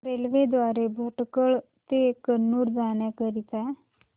railway द्वारे भटकळ ते कन्नूर जाण्या करीता